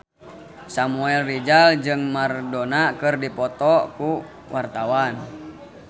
Samuel Rizal jeung Maradona keur dipoto ku wartawan